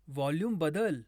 volume बदल